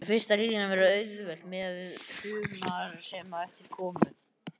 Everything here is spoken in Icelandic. Fyrsta línan var auðveld miðað við sumar sem á eftir komu.